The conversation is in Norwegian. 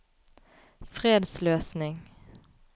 fredsløsning